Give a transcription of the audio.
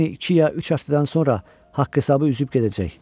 Lenni iki ya üç həftədən sonra haqq-hesabı üzüb gedəcək.